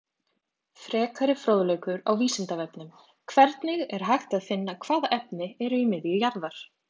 Frekari fróðleikur á Vísindavefnum: Hvernig er hægt að finna hvaða efni eru í miðju jarðar?